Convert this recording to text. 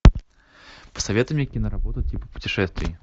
посоветуй мне киноработу типа путешествий